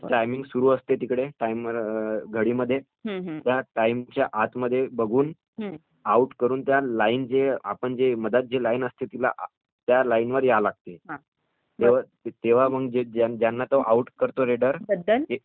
Timing सुरु असते तिथे घडीमध्ये त्या टाइमच्या आतमध्ये बघून आऊट करून आपली मध्यात जी लाईन असते त्याला त्या लाईन मध्ये यावे लागते तेंव्हा पण त्यांना जो आउट करतो रेडर.